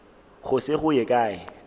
go se go ye kae